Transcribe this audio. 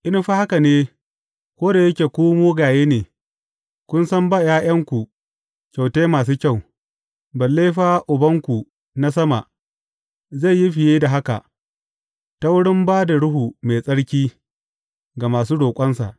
In fa haka ne, ko da yake ku mugaye ne, kun san ba ’ya’yanku kyautai masu kyau, balle fa Ubanku na sama, zai yi fiye da haka, ta wurin ba da Ruhu Mai Tsarki, ga masu roƙonsa!